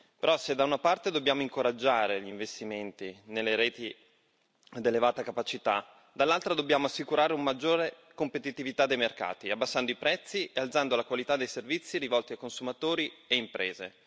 Però, se da una parte dobbiamo incoraggiare gli investimenti nelle reti ad elevata capacità, dall'altra dobbiamo assicurare una maggiore competitività dei mercati, abbassando i prezzi e alzando la qualità dei servizi rivolti a consumatori e imprese.